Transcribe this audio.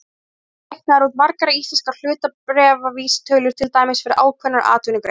Einnig eru reiknaðar út margar íslenskar hlutabréfavísitölur, til dæmis fyrir ákveðnar atvinnugreinar.